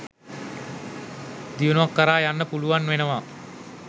දියුණුවක් කරා යන්න පුළුවන් වෙනවා.